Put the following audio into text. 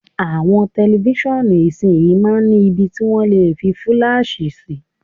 Àwọn tẹlifíṣàn ìsinyìí máa ń ni ibi tí wọ́n lè fi fúláàṣì sí.